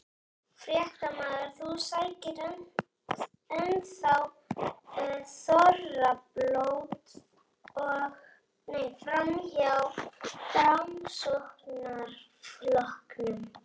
Fréttamaður: Þú sækir enn þá þorrablót hjá Framsóknarflokknum?